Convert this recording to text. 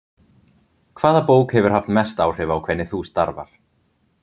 Hvaða bók hefur haft mest áhrif á hvernig þú starfar?